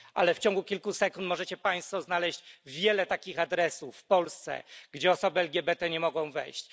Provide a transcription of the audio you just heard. Ale w ciągu kilku sekund możecie Państwo znaleźć wiele takich adresów w Polsce, gdzie osoby LGBT nie mogą wejść.